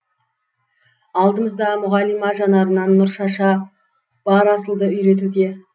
алдымызда мұғалима жанарынан нұр шаша бар асылды үйретуде